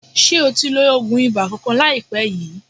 Ṣe o ti lo oògùn ibà kankan láìpé yìí?